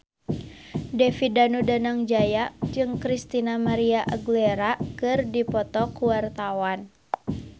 David Danu Danangjaya jeung Christina María Aguilera keur dipoto ku wartawan